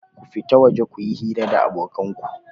Ku fita waje ku yi hira da abokan ku!